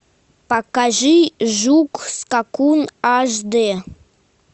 покажи жук скакун аш дэ